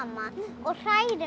og hrærir